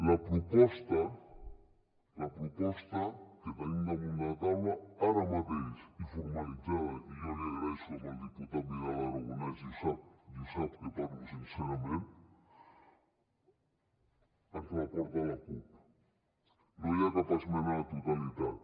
la proposta la proposta que tenim damunt la taula ara mateix i formalitzada i jo l’hi agraeixo al diputat vidal aragonés i ho sap i sap que parlo sincerament ens la porta la cup no hi ha cap esmena a la totalitat